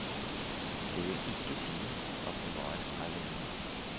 Det vil ikke si at vi var alene.